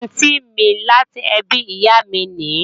Àntí mi láti ẹbí ìyá mi nìí